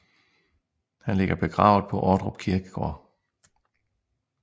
Han ligger begravet på Ordrup Kirkegård